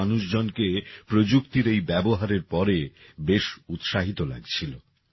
এ উপস্থিত মানুষজনকে প্রযুক্তির এই ব্যবহারের পরে বেশ উৎসাহিত লাগছিল